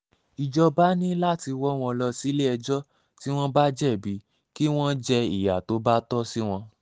ìjọba ní láti wọ́ wọn lọ sílé-ẹjọ́ tí wọ́n bá jẹ̀bi kí wọ́n jẹ ìyá tó bá tọ́ sí wọn